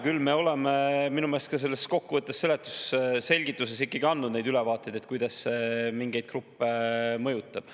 Küll oleme minu meelest ka selles kokkuvõttes, selgituses ikkagi andnud ülevaateid, kuidas see mingeid gruppe mõjutab.